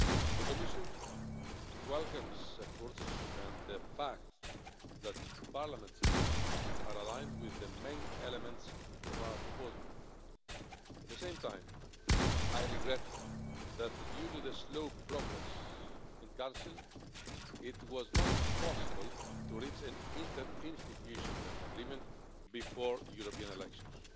The Commission welcomes the efforts and the fact that Parliament's amendments are aligned with the main elements of our proposal. At the same time, I regret that due to the slow progress in Council, it was not possible to reach an interinstitutional agreement before the European elections.